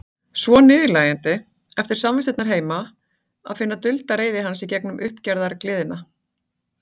Svo niðurlægjandi, eftir samvistirnar heima, að finna dulda reiði hans í gegnum uppgerðargleðina.